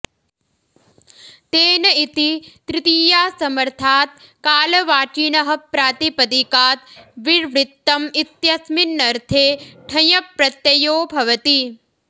तेन इति तृतीयासमर्थात् कालवाचिनः प्रातिपदिकात् विर्वृत्तम् इत्यस्मिन्नर्थे ठञ् प्रत्ययो भवति